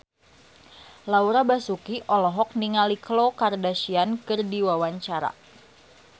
Laura Basuki olohok ningali Khloe Kardashian keur diwawancara